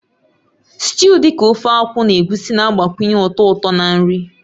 Sịtịụ dị ka Ofe Akwu na Egusi na-agbakwunye ụtọ ụtọ na nri.